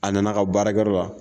A nana ka baarakɛyɔrɔ la